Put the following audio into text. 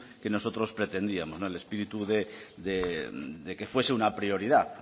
que nosotros pretendíamos no el espíritu de que fuese una prioridad